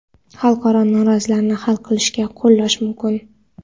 xalqaro nizolarni hal qilishgacha qo‘llash mumkin.